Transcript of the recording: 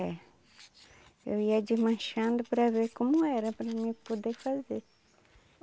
É. Eu ia desmanchando para ver como era para mim poder fazer.